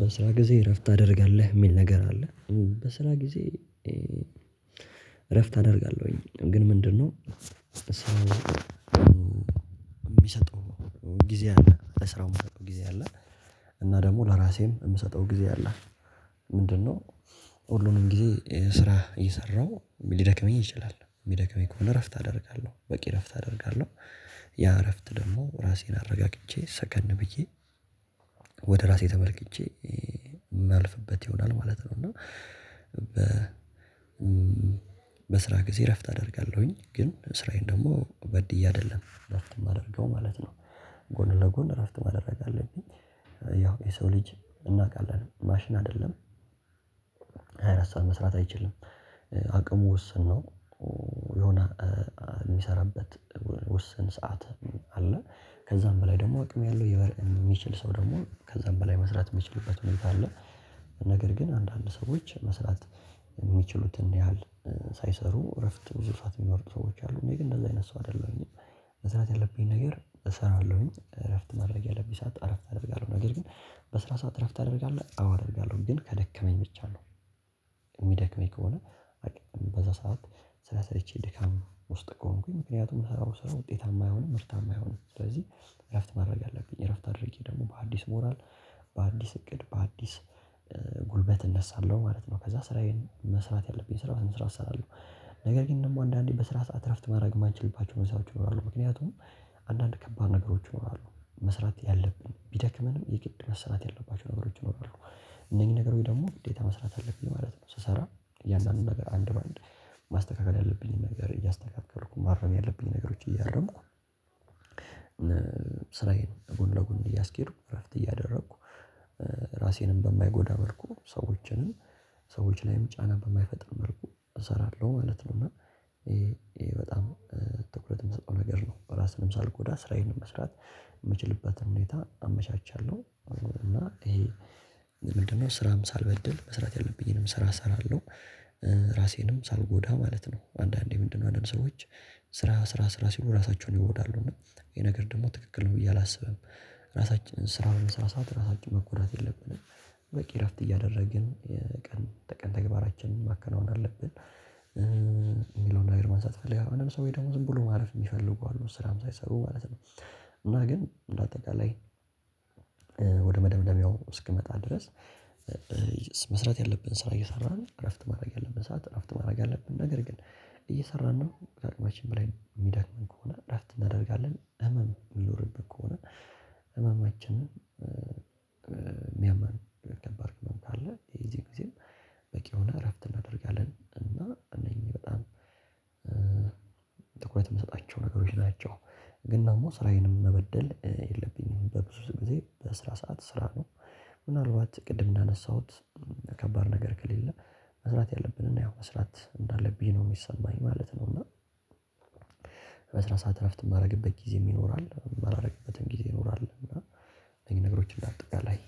በስራ ጊዜ እረፍት ታደርጋለህ? የሚል ነገር አለ። በስራ ጊዜ እረፍት አደርጋለሁኝ። ግን ምንድነው የሚሰጠው ጊዜ አለ በስራው ጊዜ አለ እና ደግሞ ለራሴም የምሰጠው ጊዜ አለ። ምንድነው ሁሉንም ጊዜ ስራ እየሰራሁ ሊደክመኝ ይችላል፤ የሚደክመኝ ከሆነ እረፍት አደርጋለሁ፣ በቂ እረፍት አደርጋለሁ። ያ እረፍት ደግሞ ራሴን አረጋግቼ ሰከን ብዬ ወደ ራሴ ተመልክቼ የምናልፍበት ይሆናል ማለት ነው እና በ በስራ ጊዜ እረፍት አደርጋለሁኝ፣ ግን ስራዬን ደግሞ በድዬ አይደለም እረፍት የማደርገው ማለት ነው። ጎን ለጎን እረፍት ማደረግ አለብኝ። ያው የሰው ልጅ እናውቃለን ማሽን አይደለም። ሃያ አራት ሰዓት መስራት አይችልም አቅሙ ውስን ነው የሆነ የሚሰራበት ውስን ሰዓት አለ። ከዛም በላይ ደግሞ አቅም ያለው የሚችል ሰው ደግሞ ከዛም በላይ መስራት የሚችልበት ሁኔታ አለ። ነገር ግን አንዳንድ ሰዎች መስራት የሚችሉትን ያህል ሳይሰሩ እረፍት ብዙ ሰዓት የምወስዱ ሰዎች አሉ፤ እኔ ግን እንደዛ አይነት ሰው አይደለሁም። መስራት ያለብኝ ነገር እሰራለሁኝ እረፍት ማድረግ ያለብኝ ሰዓት እረፍት አደርጋለሁ ነገር ግን በስራ ሰዓት እረፍት ታደርጋለህ አደርጋለሁ ግን ከደከመኝ ብቻ ነው። የሚደክመኝ ከሆነ በዛ ሰዓት ስለሰለችኝ ድካም ውስጥ ከሆንኩኝ ምክንያቱም ምሰራው ስራ ውጤታማ አይሆንም። ምርታማ አይሆንም። ስለዚህ እረፍት ማድረግ አለብኝ እረፍት አድርጌ ደግሞ በአዲስ ሞራል፣ በአዲስ እቅድ፣ በአዲስ ጉልበት እነሳለሁ ማለት ነው። ከዛ ስራዬን መስራት ያለብኝ ስራ በስነ ስርዓት እሰራለሁ። ነገር ግን ደግሞ አንዳንዴ በስራ ሰዓት እረፍት ማድረግ የማንችልባቸው መስሪያዎችም አሉ። ምክንያቱም አንዳንድ ከባድ ነገሮችም አሉ። መስራት ያለብን ብደክመንም የግድ መስራት ያለባቸው ነገሮች ይኖራሉ። እነኝህ ነገሮች ደግሞ ግዴታ መስራት አለብን ማለት ነው። ስሰራ እያንዳንዱን ነገር አንድ በአንድ ማስተካከል ያለብኝን ነገር እያስተከካልኩ ማረም ያለብኝን ነገሮች እያረምኩ ስራዬን ጎን ለጎን እያስኬድኩ እረፍት እያደረኩ ራሴንም በማይጎዳ መልኩ ሰዎችንም ሰዎች ላይም ጫና በማይፈጥር መልኩ እሰራለሁ ማለት ነው። እና ይሄ ይሄ በጣም ትኩረት የምሰጠው ነገር ነው። ራስንም ሳልጎዳ ስራዬንም መስራት የምችልበትን ሁኔታ አመቻቻለሁ፤ እና እሄ ምንድነው ስራም ሳልበድል መስራት ያለብኝንም ስራ ሰራለሁ፤ ራሴንም ሳልጎዳ ማለት ነው። አንዳንዴ ምንድነው አንዳንድ ሰዎች ስራ ስራ ስራ ስሉ ራሳቸውን ይጎዳሉ፤ እና ይሄ ነገር ደግሞ ትክክል ነው ብዬ አላስብም። ራሳችንም ስራ በምንሰራበት ጊዜ ራሳችንን መጎዳት የለብንም። በቂ እረፍት እያደረግን ቀን ተቀን ተግባራችን ማከናወን አለብን። የሚለውን ነገር መንሳት እፈልጋለሁ አንዳንድ ሰዎች ደግሞ ዝም ብሎ ማለፍ የሚፈልጉ አሉ ስራም ሳይሰሩ ማለት ነው። እና ግን በአጠቃላይ ወደ መደምደሚያው እስኪመጣ ድረስ መስራት ያለብን ስራ እየሰራን እረፍት ማድረግ ያለብን ሰዓት እረፍት ማድረግ ያለብን ነገር ግን እየሰራን ነው በአቅማችን በላይ የሚዳክመን ከሆነ እረፍት እናደርጋለን ህመም የሚኖርብን ከሆነ ህመማችንን የምያመን ከባድ ህመም ካለ የዚህ ጊዜ በቂ የሆነ እረፍት እናደርጋለን። እና እኔም በጣም ትኩረት የሚሰጣቸው ነገሮች ናቸው። ግን ደግሞ ስራዬንም መበደል የለብኝም በብዙ ጊዜ በስራ ሰዓት ሰራለሁ። ምናልባት ቅድም እንዳነሳሁት ከባድ ነገር ከሌለ መስራት ያለብን እና ያው መስራት እንዳለብኝ ነው የሚሰማኝ ማለት ነው እና በስራ ሰዓት እረፍት የማደርግበት ጊዜም ይኖራል፣ የማላደርግበትም ጊዜ ይኖራል እና እኛ ነገሮችን እንዳጠቃላይ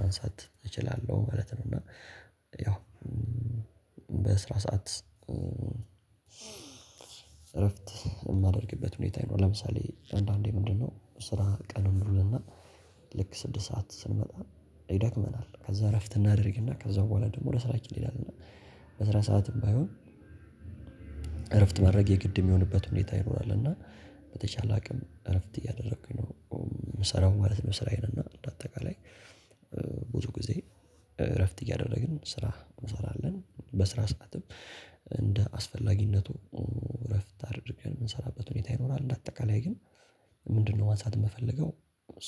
ማንሳት እችላለሁ ማለት ነው እና ያው በስራ ሰዓት እረፍት የማደርግበት ሁኔታ ይኖራል። ለምሳሌ አንዳንዴ ምንድነው ስራ ቀን እንውልና ልክ ስድስት ሰዓት ስንመጣ ይደክመናል ከዛ እረፍት እናደርግና ከዛ በኋላ ደግሞ ወደ ስራችን እንሄዳለንና በስራ ሰዓትም ባይሆን እረፍት ማድረግ የግድ የምሆነበት ሁኔታ ይኖራል እና በተቻለ አቅም እረፍት እያደረኩኝ ነው የምሰራው ማለት ነው ስራዬን እና እንደአጠቃላይ ብዙ ጊዜ እረፍት እያደረግን ስራ እንሰራለን በስራ ሰዓትም እንደ አስፈላጊነቱ እረፍት አድርገን የምንሰራበት ሁኔታ ይኖራል እንደ አጠቃላይ ግን ምንድነው ማንሳት የምፈልገው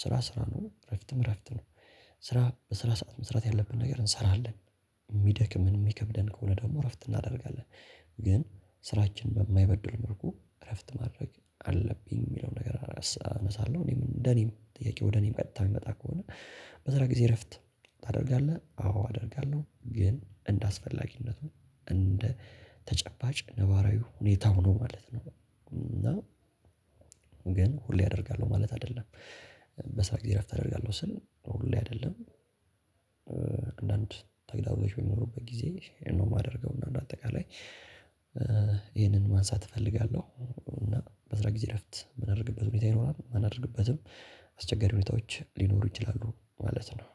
ስራ ስራ ነው እረፍትም እረፍት ነው። ስራ በስራ ሰዓት መስራት ያለብን ነገር እንሰራለን፤ የሚደክምን የሚከብደንም ከሆነ ደግሞ እረፍት እናደርጋለን። ግን ስራችን በማይበድል መልኩ እረፍት ማድረግ አለብኝ የሚለው ነገር አላስብ አነሳለሁ እኔም እንደኔም ጥያቄው ወደ እኔ ቀጥታ ምመጣ ከሆነ በስራ ጊዜ እረፍት ታደርጋለህ? አዎ አደርጋለሁ፤ ግን እንደ አስፈላጊነቱ እንደ ተጨባጭ ነባራዊ ሁኔታው ማለት ነው እና ግን ሁሌ አደርጋለሁ ማለት አይደለም። በስራ ጊዜ እረፍት አደርጋለሁ ስል ሁሌ አይደለም። አንዳንድ ተግዳሮች በሚኖሩበት ጊዜ ነው የማደርገው እና አንደአጠቃላይ ይህንን ማንሳት እፈልጋለሁ እና በስራ ጊዜ እረፍት የምናደርግበት ሁኔታ ይኖራል፤ ማናደርግበትም አስቸጋሪ ሁኔታዎች ሊኖሩ ይችላሉ ማለት ነው።